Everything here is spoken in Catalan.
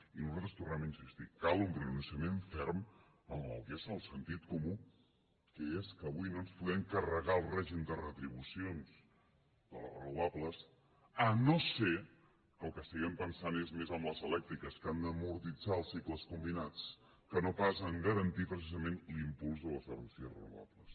i nosaltres tornem a insistir hi cal un pronunciament ferm amb el que és el sentit comú que és que avui no ens podem carregar el règim de retribucions de les renovables si no és que en el que estiguem pensant és més en les elèctriques que han d’amortitzar els cicles combinats que no pas en garantir precisament l’impuls de les energies renovables